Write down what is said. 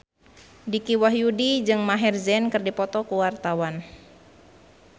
Dicky Wahyudi jeung Maher Zein keur dipoto ku wartawan